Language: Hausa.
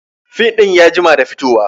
Fim ɗin ya jima da fito wa